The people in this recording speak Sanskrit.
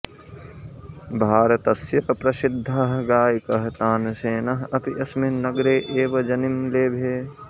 भारतस्य प्रसिद्धः गायकः तानसेनः अपि अस्मिन् नगरे एव जनिं लेभे